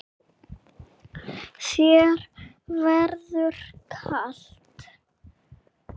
Þér verður kalt